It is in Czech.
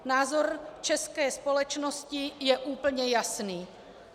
Názor české společnosti je úplně jasný.